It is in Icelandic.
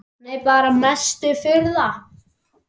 Nei bara mesta furða.